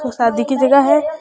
यो शादी की जगह है।